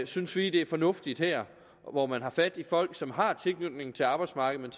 synes vi det er fornuftigt her hvor man har fat i folk som har tilknytning til arbejdsmarkedet